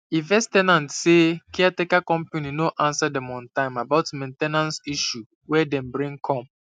e vex ten ant say caretaker company no answer dem on time about main ten ance issue wey dem bring come